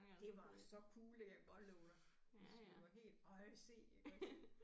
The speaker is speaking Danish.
Det var så cool det kan jeg godt love dig altså vi var helt ej se iggås